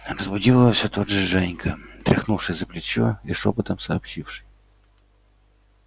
разбудил его всё тот же женька тряхнувший за плечо и шёпотом сообщивший